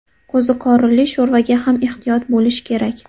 Qo‘ziqorinli sho‘rvaga ham ehtiyot bo‘lish kerak.